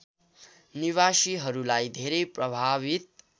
निवासीहरूलाई धेरै प्रभावित